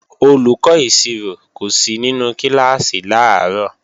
Olùkọ́ ìṣirò kò sí nínú kíláàsì làárọ̀